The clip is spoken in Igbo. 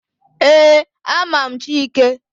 Ee, ama m Chike.